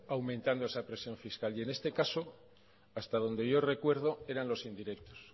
aumentando esa presión fiscal y en este caso hasta donde yo recuerdo eran los indirectos